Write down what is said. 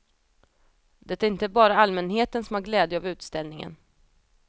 Det är inte bara allmänheten som har glädje av utställningen.